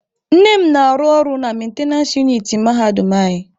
Nne m na-arụ ọrụ na mentenance uniti mahadum anyị.